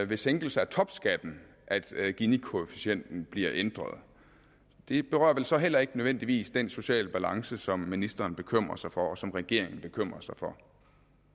ved sænkelse af topskatten at ginikoefficienten bliver ændret det berører vel så heller ikke nødvendigvis den sociale balance som ministeren bekymrer sig for og som regeringen bekymrer sig for